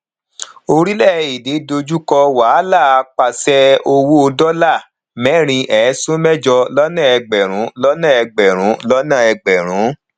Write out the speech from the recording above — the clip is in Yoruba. orílè èdè dójú kò wàhálà pàṣẹ owó dola merin esun mejo lọnà egberun lọnà egberun lọnà egberun